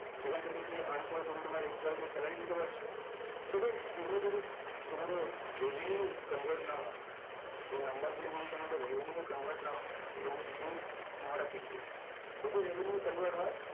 এখন থেকে কি earn করে তুমি তোমার employee দের salary দিতে পারছো so friends এগুলো যদি তোমাদের revenue convert না হয় এই number গুলো যদি তোমাদের revenue convert না হয় তাহলে it is not aKPI যদি revenue convert হয়